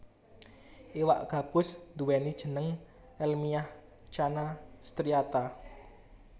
Iwak gabus nduwèni jeneng èlmiah Channa striata